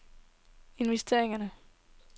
investering